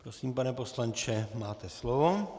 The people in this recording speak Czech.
Prosím, pane poslanče, máte slovo.